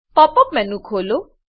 pop up menu ખોલો